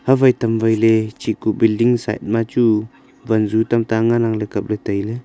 hawai tamwaile chiku building side ma chu wanzu tamta ngan ang le kaple taile.